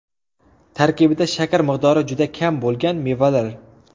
Tarkibida shakar miqdori juda kam bo‘lgan mevalar.